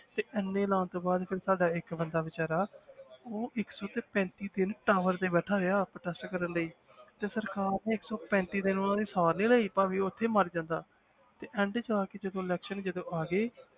ਤੇ ਇੰਨੇ ਲਾਉਣ ਤੋਂ ਬਾਅਦ ਫਿਰ ਸਾਡਾ ਇੱਕ ਬੰਦਾ ਬੇਚਾਰਾ ਉਹ ਇੱਕ ਟੈਂਕੀ ਤੇ ਨਾ tower ਤੇ ਬੈਠਾ ਰਿਹਾ protest ਕਰਨ ਲਈ ਤੇ ਸਰਕਾਰ ਨੇ ਇੱਕ ਪੈਂਤੀ ਦਿਨ ਉਹਨਾਂ ਦੀ ਸਾਰ ਨੀ ਲਈ ਭਾਵੇਂ ਉੱਥੇ ਹੀ ਮਰ ਜਾਂਦਾ ਤੇ end 'ਚ ਆ ਕੇ election ਜਦੋਂ ਆ ਗਏ